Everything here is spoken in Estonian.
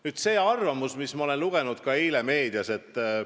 Nüüd sellest arvamusest, mida ma eile ka meediast lugesin.